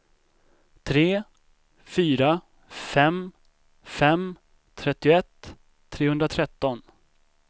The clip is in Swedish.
tre fyra fem fem trettioett trehundratretton